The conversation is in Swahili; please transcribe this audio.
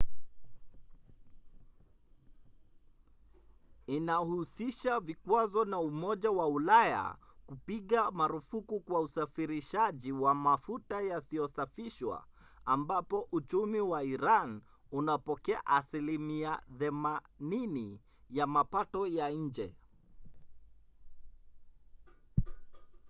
inahusisha vikwazo na umoja wa ulaya kupiga marufuku kwa usafirishaji wa mafuta yasiyosafishwa ambapo uchumi wa iran unapokea 80% ya mapato ya nje